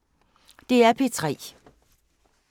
DR P3